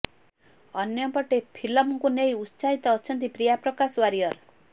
ଅନ୍ୟପଟେ ଫିଲ୍ମକୁ ନେଇ ଉତ୍ସାହିତ ଅଛନ୍ତି ପ୍ରିୟା ପ୍ରକାଶ ୱାରିୟର